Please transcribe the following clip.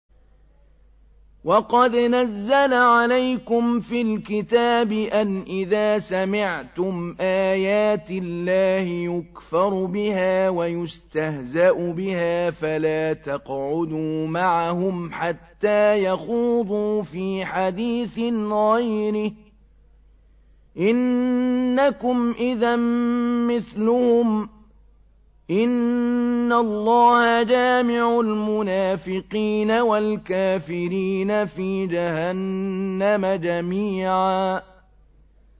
وَقَدْ نَزَّلَ عَلَيْكُمْ فِي الْكِتَابِ أَنْ إِذَا سَمِعْتُمْ آيَاتِ اللَّهِ يُكْفَرُ بِهَا وَيُسْتَهْزَأُ بِهَا فَلَا تَقْعُدُوا مَعَهُمْ حَتَّىٰ يَخُوضُوا فِي حَدِيثٍ غَيْرِهِ ۚ إِنَّكُمْ إِذًا مِّثْلُهُمْ ۗ إِنَّ اللَّهَ جَامِعُ الْمُنَافِقِينَ وَالْكَافِرِينَ فِي جَهَنَّمَ جَمِيعًا